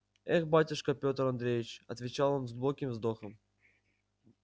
эх батюшка пётр андреевич отвечал он с глубоким вздохом